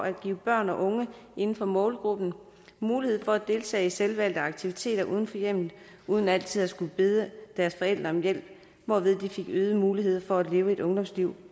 at give børn og unge inden for målgruppen mulighed for at deltage i selvvalgte aktiviteter uden for hjemmet uden altid at skulle bede deres forældre om hjælp hvorved de fik øgede muligheder for at leve et ungdomsliv